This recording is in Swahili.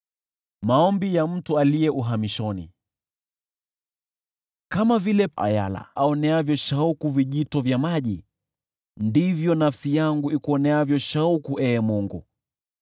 Kama vile ayala aoneavyo shauku vijito vya maji, ndivyo nafsi yangu ikuoneavyo shauku, Ee Mungu.